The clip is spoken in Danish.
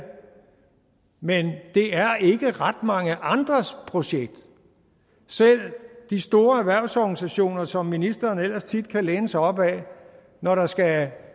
men det er ikke ret mange andres projekt selv de store erhvervsorganisationer som ministeren ellers tit kan læne sig op ad når der skal